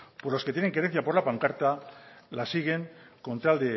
pues lo que tienen la querencia por la pancarta la sigan con tal